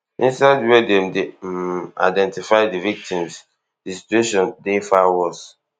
inside wia dem dey um identify di victims di situation dey far worse